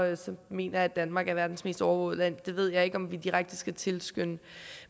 mener jeg at danmark er verdens mest overvågede land det ved jeg ikke om vi direkte skal tilskynde